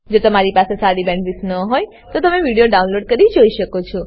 જો તમારી પાસે સારી બેન્ડવિડ્થ ન હોય તો તમે વિડીયો ડાઉનલોડ કરીને જોઈ શકો છો